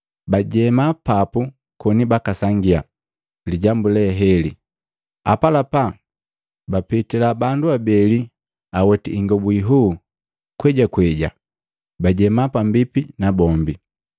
Bajema papu koni bakasangia lijambu leheli, apalapa bapitila bandu abeli aweti ingobu inhuu kwejakweja bajema pambipi nabombi.